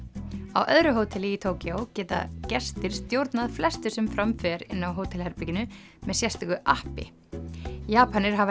á öðru hóteli í Tókýó geta gestir stjórnað flestu sem fram fer inni á hótelherberginu með sérstöku appi Japanir hafa